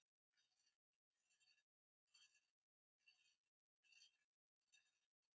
svaraði hún hvasst.